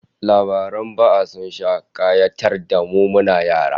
Labaran ba'a sun sha kayatar da mu muna yara